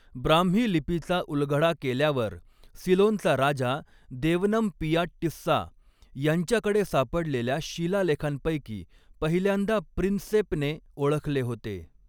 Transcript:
ब्राह्मी लिपीचा उलगडा केल्यावर, सिलोनचा राजा देवनमपिया टिस्सा यांच्याकडे सापडलेल्या शिलालेखांपैकी पहिल्यांदा प्रिन्सेपने ओळखले होते.